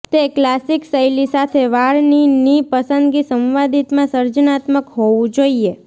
તે ક્લાસિક શૈલી સાથે વાળની ની પસંદગી સંવાદિતા માં સર્જનાત્મક હોવું જોઈએ